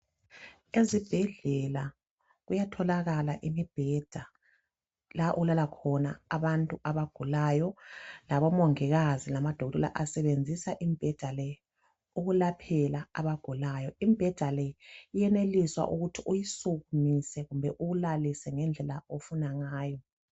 Ezibhedlela kuyatholakala imibheda la okulala khona abantu abagulayo labomongikazi lamadokotela asebenzisa imibheda le ukulaphela abagulayo imibheda le iyenelisa ukuthi uyisukumise kumbe uyilalise ngendlela ofuna ngayo.